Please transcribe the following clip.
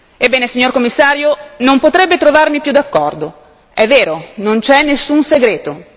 Ebbene, signor Commissario, non potrebbe trovarmi più d'accordo è vero, non c'è nessun segreto.